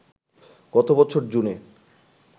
গত বছর জুনে